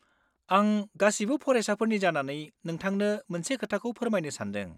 आं गासिबो फरायसाफोरनि जानानै नोंथांनो मोनसे खोथाखौ फोरमायनो सानदों।